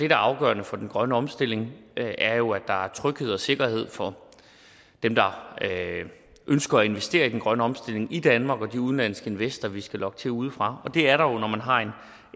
er afgørende for den grønne omstilling er jo at der er tryghed og sikkerhed for dem der ønsker at investere i den grønne omstilling i danmark og de udenlandske investorer vi skal lokke til udefra og det er der jo når man har